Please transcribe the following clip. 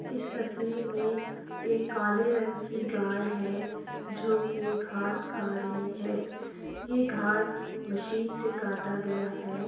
इस तस्वीर में एक काले रंग की गाय है जोकि घांस खा रही है। ये घाँस मशीन से काटा गया है।